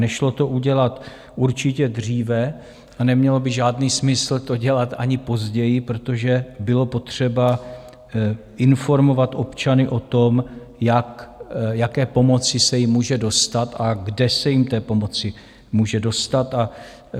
Nešlo to udělat určitě dříve a nemělo by žádný smysl to dělat ani později, protože bylo potřeba informovat občany o tom, jaké pomoci se jim může dostat a kde se jim té pomoci může dostat.